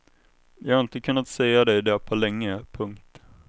Jag har inte kunnat säga dig det på länge. punkt